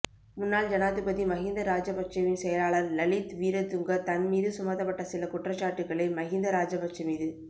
முன்னாள் ஜனாதிபதி மகிந்த ராஜபக்சவின் செயலாளர் லலித் வீரதுங்க தன் மீது சுமத்தப்பட்ட சில குற்றச்சாட்டுக்களை மகிந்த ராஜபக்ச மீது